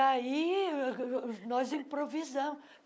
aí, uh nós improvisamos.